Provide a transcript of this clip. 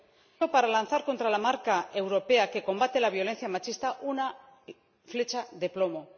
Es un mal momento para lanzar contra la marca europea que combate la violencia machista una flecha de plomo.